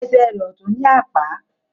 Esè rẹ ọtún ní Àpá